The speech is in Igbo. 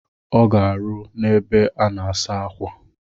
Ọ ga-arụ n'ebe a na-asa akwa.